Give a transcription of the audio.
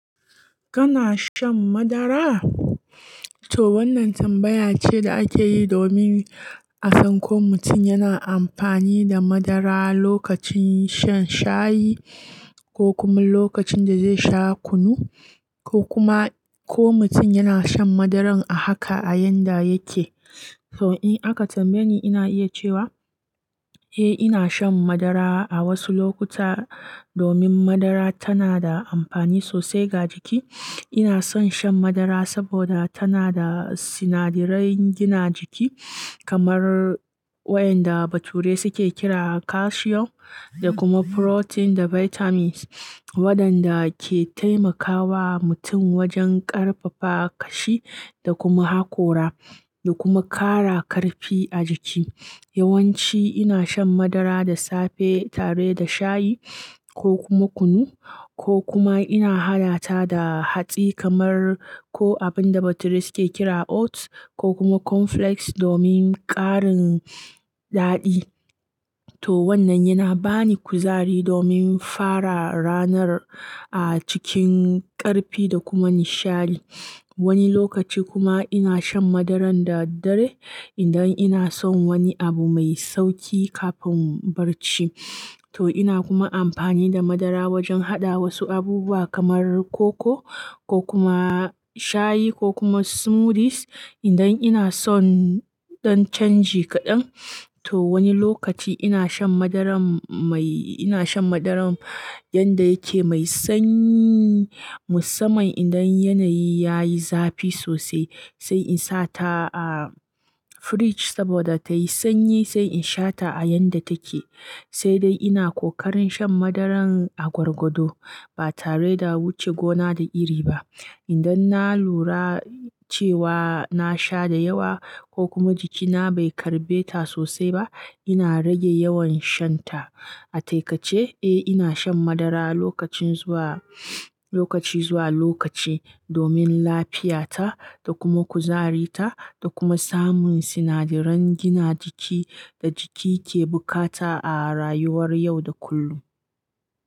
Kana shan madara? To wannan tambaya ce da ake yi domin a san ko mutum yana amfani da madara lokacin shan shayi ko kuma lokacin da zai sha kunu, ko kuma ko mutum yana shan madaran a haka a yanda yake. So in aka tambaye ni ina iya cewa, eh ina shan madara a wasu lokuta domin madara tana da amfani sosai ga jiki. Ina son shan madara saboda tana da sinadarai gina jiki kamar wayanda bature suke kira calcium da kuma protein da vitamins waɗanda ke taimakawa mutum wajen ƙarfafa kashi da kuma hakora da kuma ƙara ƙarfi a jiki. Yawanci ina shan madara da safe tare da shayi ko kuma kunu ko kuma ina haɗa ta da hatsi kamar ko abinda bature suke kira oats ko kuma cornflakes domin ƙarin daɗi. To wannan yana bani kuzari domin fara ranar a cikin ƙarfi da kuma nishadi. Wani lokaci kuma ina shan madaran da dare idan ina son wani abu mai sauƙi kafin barci. To ina kuma amfani da madara wajen haɗa wasu abubuwa kamar koko ko kuma shayi ko kuma smoothies idan ina son ɗan canji kaɗan. To wani lokaci ina shan madaran mai-- ina shan madaran yanda yake mai sanyi musamman idan yanayi yayi zafi sosai sai in sa ta a fridge saboda tayi sanyi sai in sha ta a yanda take. Sai dai ina ƙoƙarin shan madaran a gwargwado ba tare da wuce gona da iri ba. Idan na lura cewa na sha da yawa ko kuma jikina bai karɓe ta sosai ba, ina rage yawan shan ta. A taikace, eh ina shan madara lokacin zuwa lokaci zuwa lokaci domin lafiyata da kuma kuzarita da kuma samun sinadaran gina jiki da jiki ke bukata a rayuwar yau da kullum.